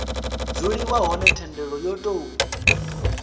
dzuliwa hone thendelo yo tou